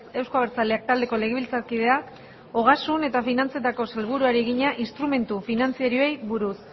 euzko abertzaleak taldeko legebiltzarkideak ogasun eta finantzetako sailburuari egina instrumentu finantzarioei buruz